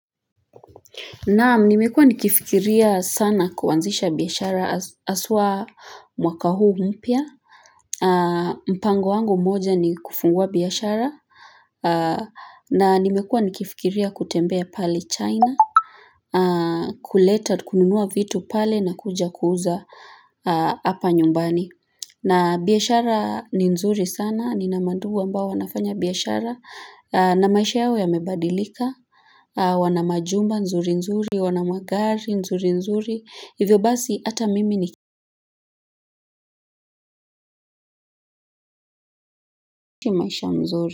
Naam nimekuwa nikifikiria sana kuanzisha biashara haswa mwaka huu mpya mpango wangu mmoja ni kufungua biashara na nimekuwa nikifikiria kutembea pale china kuleta kununua vitu pale na kuja kuuza Hapa nyumbani. Na biashara ni nzuri sana nina mandugu ambao wanafanya biashara na maisha yao yamebadilika wana majumba nzuri nzuri, wana magari nzuri nzuri. Hivyo basi hata mimi ni niishi maisha mzuri.